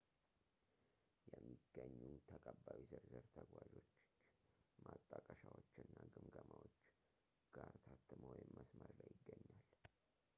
የሚገኙ ተቀባዮች ዝርዝር ተጓዦችች ማጣቀሻዎች እና ግምገማዎች ጋር ታትሞ ወይም መስመር ላይ ይገኛል